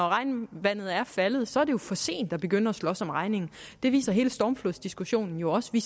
regnvandet er faldet så er det jo for sent at begynde at slås om regningen det viser hele stormflodsdiskussionen jo også vi